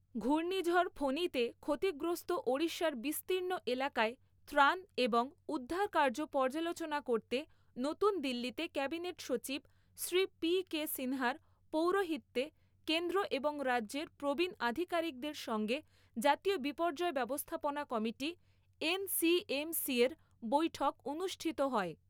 ঘূর্ণিঝড় ফণীতে ক্ষতিগ্রস্থ ওড়িশার বিস্তীর্ণ এলাকায় ত্রাণ এবং উদ্ধারকাজ পর্যালোচনা করতে নতুন দিল্লীতে ক্যাবিনেট সচিব শ্রী পি কে সিনহার পৌরহিত্যে কেন্দ্র এবং রাজ্যের প্রবীণ আধিকারিকদের সঙ্গে জাতীয় বিপর্যয় ব্যবস্থাপনা কমিটি এনসিএমসির বৈঠক অনুষ্ঠিত হয়।